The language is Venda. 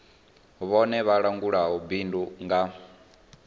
vhone vha langulaho bindu nga